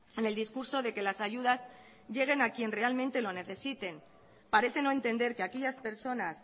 en el discurso de que las ayudas lleguen a quien realmente lo necesite parecen no entender que aquellas personas